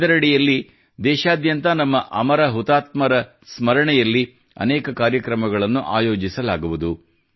ಇದರ ಅಡಿಯಲ್ಲಿ ದೇಶಾದ್ಯಂತ ನಮ್ಮ ಅಮರ ಹುತಾತ್ಮರ ಸ್ಮರಣೆಯಲ್ಲಿ ಅನೇಕ ಕಾರ್ಯಕ್ರಮಗಳನ್ನು ಆಯೋಜಿಸಲಾಗುವುದು